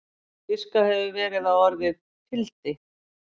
Giskað hefur verið á að orðið fildi?